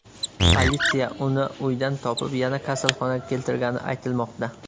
Politsiya uni uydan topib, yana kasalxonaga keltirgani aytilmoqda.